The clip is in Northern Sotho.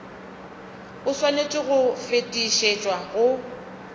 o swanetše go fetišetšwa go